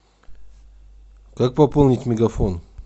как пополнить мегафон